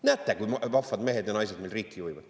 Näete, kui vahvad mehed ja naised meil riiki juhivad!